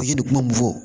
A tigi bɛ kuma mun fɔ